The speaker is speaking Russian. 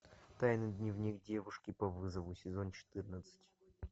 тайный дневник девушки по вызову сезон четырнадцать